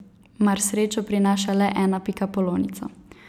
Mar srečo prinaša le ena pikapolonica?